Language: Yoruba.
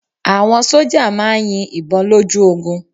Àwọn sójà máà ń yin ìbọn lójú ogun